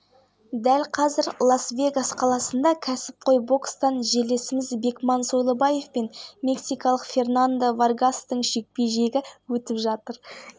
астана қазан жұма күні қазақстанның тек оңтүстік және оңтүстік-шығысында жауын-шашын болмайды деп хабарлайды қазгидромет баспасөз қызметі